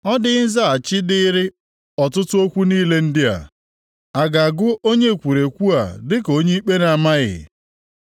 “Ọ dịghị nzaghachi dịịrị ọtụtụ okwu niile ndị a? A ga-agụ onye ekwurekwu a dịka onye ikpe na-amaghị?